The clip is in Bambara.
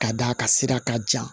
Ka d'a ka sira ka jan